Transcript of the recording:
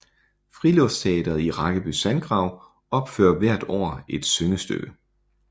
Friluftsteatret i Rakkeby Sandgrav opfører hver år et syngestykke